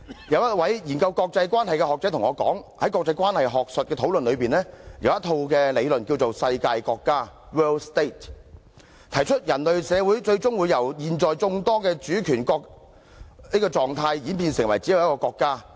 有一位研究國際關係的學者對我說，在國際關係學術的討論中，有一套理論叫"世界國家"，提出人類社會最終會由現在眾多主權國這個狀態演變成為只有一個國家。